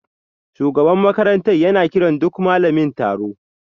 Shugaban makarantar yana kiran duk malamin taro